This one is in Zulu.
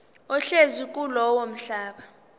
ohlezi kulowo mhlaba